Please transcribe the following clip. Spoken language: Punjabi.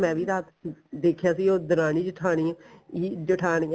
ਮੈਂ ਵੀ ਰਾਤ ਦੇਖਿਆ ਸੀ ਉਹ ਦਰਾਣੀ ਜਠਾਣੀ ਹੀ ਜਠਾਣੀਆਂ ਈ